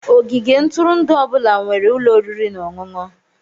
Ogige ntụrụndụ ọ bụla nwere ụlọ oriri na ọṅụṅụ.